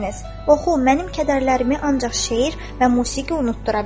"Oxu, mənim kədərlərimi ancaq şeir və musiqi unutdura bilər."